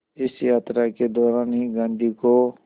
इस यात्रा के दौरान ही गांधी को